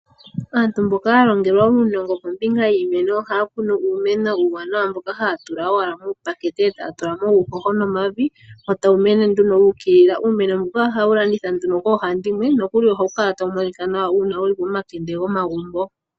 Aantu mboka yalongelwa uunongo kombinga yiimeno oha ya kunu uumeno uuwanawa mboka haya tula owala muupakete ee taya tulamo uuhoho nomavi, wo tawu mene nduno wuukilila. Uumeno mbuka oha wu landithwa nduno koohandimwe, nokuli oha wu kala ta wu monikwa nawa uuna wu li pomakende gomagumbo.